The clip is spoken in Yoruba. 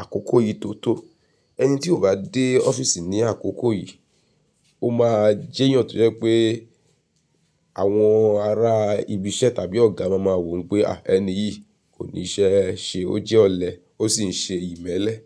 àkókò yìí tó tó. Ẹni tí ò bá dé ọ́fíìsì ní àkókò yìí, ó máa jẹ́ èèyàn tó jẹ́ pé àwọn ará ibi iṣẹ́ tàbí ọ̀gá máa mọ̀ wípé, ah ẹni yìí kò ní iṣẹ́ ṣe, ó jẹ́ ọ̀lẹ ó sì ń ṣe ìmẹ́lẹ́